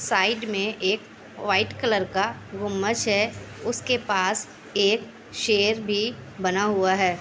Side मे एक white colour का गुम्बज है। उसके पास एक शेर भी बना हुआ है।